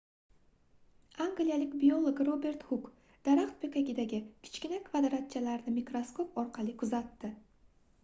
angliyalik biolog robert huk daraxt poʻkagidagi kichkina kvadratchalarni mikroskop orqali kuzatdi